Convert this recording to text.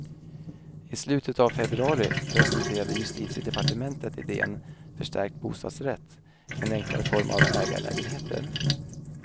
I slutet av februari presenterade justitiedepartementet idén förstärkt bostadsrätt, en enklare form av ägarlägenheter.